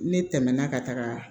Ne tɛmɛna ka taga